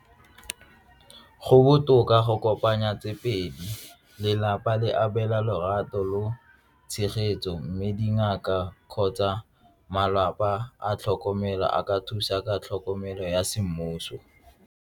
Go botoka go kopanya tse pedi, lelapa le abela lorato lo tshegetso mme dingaka kgotsa malapa a tlhokomelo a ka thusa ka tlhokomelo ya semmuso.